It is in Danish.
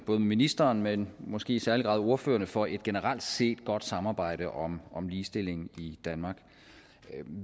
ministeren men måske i særlig grad ordførerne for et generelt set godt samarbejde om om ligestillingen i danmark